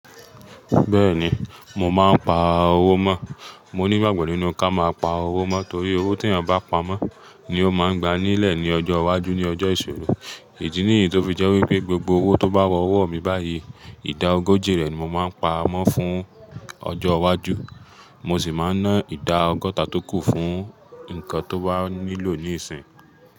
Bẹ́ẹ̀ni, mo máa ń pa owó mọ́. Mo ní ìgbàgbọ́ nínú ká máa pa owó mọ́ torí owó tí ènìyàn bá pa mọ́ ni ó máa ń gba ní ilẹ̀ ní ọjọ́ iwájú ní ọjọ́ ìṣòro. Idí ní èyí tó fi jẹ́ wípé gbogbo owó tó bá wọ ọwọ́ mi báyìí, ìdá ogójì rẹ̀ ni mo máa ń pa mọ́ fún ọjọ́ iwájú. Mo sì máa ń ná ìdá ọgọ́ta tó kù fún nǹkan tó bá nílò níìsín.